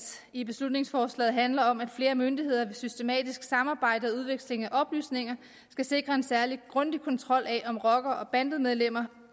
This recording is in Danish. i beslutningsforslaget handler om at flere myndigheder ved systematisk samarbejde og udveksling af oplysninger skal sikre en særlig grundig kontrol af om rockere og bandemedlemmer